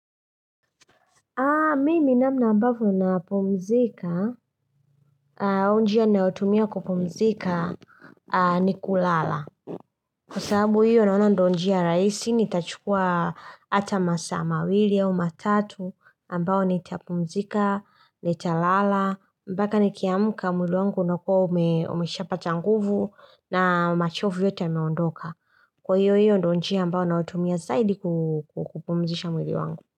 Mimi namna ambavyo napumzika, au njia nayo tumia kupumzika ni kulala. Kwa sababu hiyo naona ndio njia rahisi, nitachukuwa hata masaa mawili au matatu ambao nitapumzika, nitalala. Mbaka ni kiamuka mwili wangu unakuwa umesha pata nguvu na machovu yote yameondoka. Kwa hiyo hiyo ndio njia ambao naotumia zaidi kupumzisha mwili wangu.